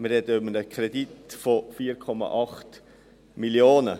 Wir sprechen von einem Kredit von 4,8 Mio. Franken.